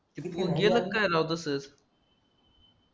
गेला राव तसंच